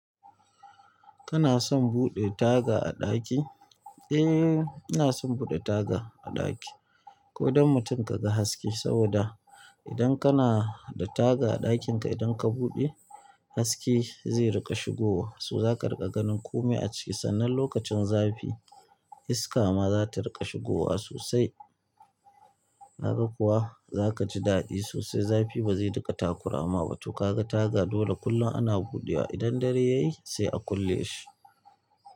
Kana son buɗe taga a ɗaki? Eee, ina son buɗe taga a ɗaki. Ko don mutum ka ga haske saboda idan kana da taga a ɗakinka idan ka buɗe haske zai riƙa shigowa. To zaka riƙa ganin kome a ciki sannan lokacin zafi iska ma za ta riƙa shigowa sosai. Kaga kuwa za kaji daɗi sosai zafi ba zai riƙa takurama ba. To kaga taga dole kullum ana buɗewa idan dare ya yi sai a kulle shi.